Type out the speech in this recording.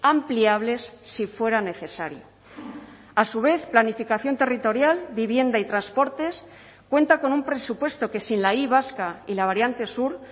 ampliables si fuera necesario a su vez planificación territorial vivienda y transportes cuenta con un presupuesto que sin la y vasca y la variante sur